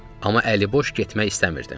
Amma əliboş getmək istəmirdim.